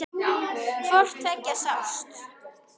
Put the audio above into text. Hvort tveggja sást.